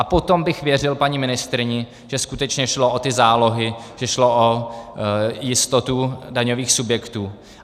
A potom bych věřil paní ministryni, že skutečně šlo o ty zálohy, že šlo o jistotu daňových subjektů.